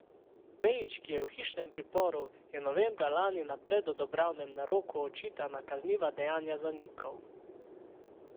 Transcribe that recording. Pejić, ki je v hišnem priporu, je novembra lani na predobravnavnem naroku očitana kazniva dejanja zanikal.